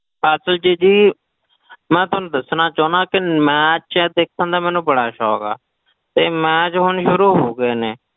ਅਸਲ 'ਚ ਜੀ ਮੈਂ ਤੁਹਾਨੂੰ ਦੱਸਣਾ ਚਾਹੁਨਾ ਕਿ match ਦੇਖਣ ਦਾ ਮੈਨੂੰ ਬੜਾ ਸ਼ੌਂਕ ਆ ਤੇ match ਹੁਣ ਸ਼ੁਰੂ ਹੋ ਗਏ ਨੇ,